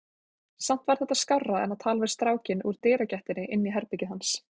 Samt var þetta skárra en að tala við strákinn úr dyragættinni inn í herbergið hans.